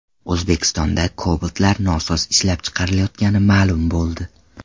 O‘zbekistonda Cobalt’lar nosoz ishlab chiqarilayotgani ma’lum bo‘ldi.